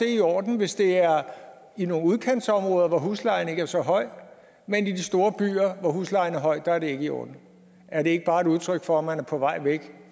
i orden hvis det er i nogle udkantsområder hvor huslejen ikke er så høj men i de store byer hvor huslejen er høj er det ikke i orden er det ikke bare et udtryk for at man er på vej væk